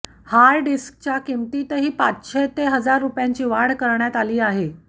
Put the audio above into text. hard डिस्कच्या किंमतीतही पाचशे ते हजार रुपयांची वाढ करण्यात आली आहे